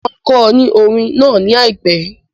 Mo máa kọ ọ ní orín náà ní àìpẹ́.